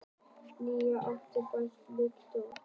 Ný atvinnusókn og bætt lífskjör